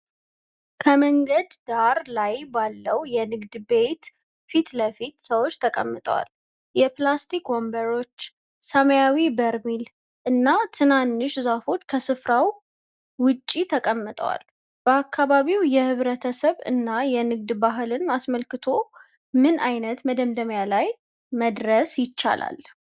ከመንገድ ዳር ላይ ባለው ንግድ ቤት ፊት ለፊት ሰዎች ተቀምጠዋል። የፕላስቲክ ወንበሮች፣ ሰማያዊ በርሜል እና ትንንሽ ዛፎች ከስፋራው ውጭ ተቀምጠዋል። በአካባቢው የህብረተሰብ እና የንግድ ባህልን አስመልክቶ ምን ዓይነት መደምደሚያ ላይ መድረስ ይቻላል?